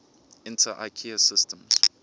inter ikea systems